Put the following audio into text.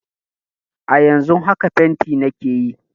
A yanzun haka fenti nake yi